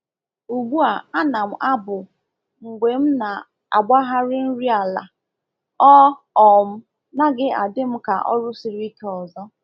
Ugbu a ana m abụ mgbe m na-agbagharị nri ala, ọ um naghị adị m ka ọrụ siri ike ọzọ.